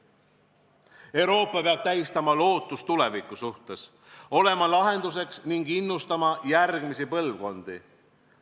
Euroopa peab tähistama lootust tuleviku suhtes, olema lahenduseks ning innustama järgmisi põlvkondi.